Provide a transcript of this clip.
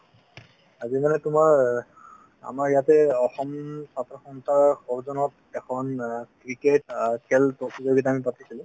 আজি মানে তোমাৰ আমাৰ ইয়াতে অসম ছাত্ৰ সন্থাৰ সজৌন্যত এখন অ ক্ৰিকেট অ খেল প্ৰতিযোগিতা আমি পাতিছিলো |